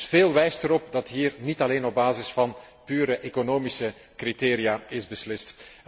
Dus veel wijst erop dat hier niet alleen op basis van pure economische criteria is beslist.